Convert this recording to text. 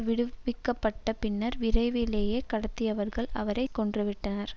விடுவிக்கப்பட்ட பின்னர் விரைவிலேயே கடத்தியவர்கள் அவரை கொன்றுவிட்டனர்